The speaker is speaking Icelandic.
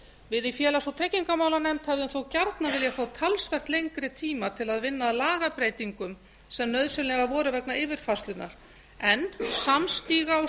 við í félags og tryggingamálanefnd hefðu þó gjarnan viljað fá talsvert lengri tíma til að vinna að lagabreytingum sem nauðsynlegar voru vegna yfirfærslunnar en samstiga og